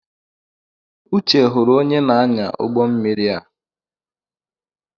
Uche hụrụ onye na-anya ụgbọ mmiri a.